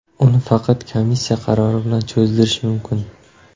Uni faqat komissiya qarori bilan cho‘zdirish mumkin.